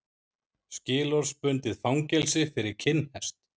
Skilorðsbundið fangelsi fyrir kinnhest